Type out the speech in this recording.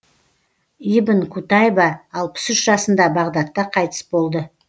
ибн кутайба алпыс үш жасында бағдатта қайтыс болды